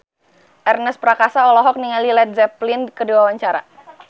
Ernest Prakasa olohok ningali Led Zeppelin keur diwawancara